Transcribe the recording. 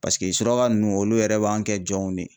Paseke suraka nunnu olu yɛrɛ b'an kɛ jɔnw de ye.